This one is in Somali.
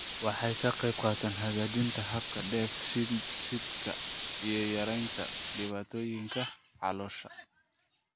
Waxay ka qaybqaadataa hagaajinta habka dheef-shiidka iyo yaraynta dhibaatooyinka caloosha.